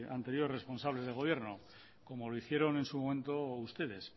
anterior responsables de gobierno como lo hicieron en su momento ustedes